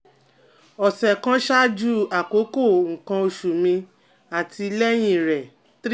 ọsẹ kan ṣaaju akoko nkan osu mi ati lẹhin re three